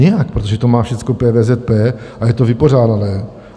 Nijak, protože to má všechno PVZP a je to vypořádané.